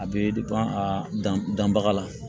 A bɛ a dan danbaga la